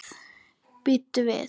Bíddu við.